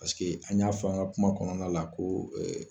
Pasike an y'a f'an ka kuma kɔnɔna la ko